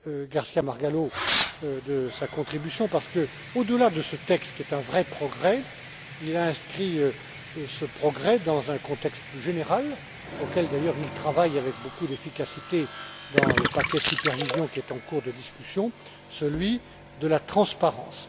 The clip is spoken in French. García Margallo de sa contribution, parce que, au delà de ce texte, qui est un vrai progrès, il a inscrit cette avancée dans un contexte plus général, auquel d'ailleurs il travaille avec beaucoup d'efficacité dans le paquet supervision qui est en cours de discussion, celui de la transparence.